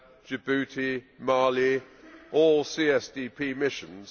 Djibouti, Mali, all CSDP missions